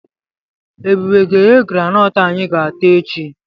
Ebube ga-eghe granọọtụ anyị ga-ata echi.